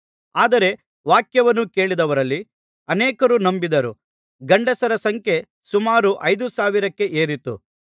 ಆದರೆ ವಾಕ್ಯವನ್ನು ಕೇಳಿದವರಲ್ಲಿ ಅನೇಕರು ನಂಬಿದರು ಗಂಡಸರ ಸಂಖ್ಯೆ ಸುಮಾರು ಐದು ಸಾವಿರಕ್ಕೆ ಏರಿತು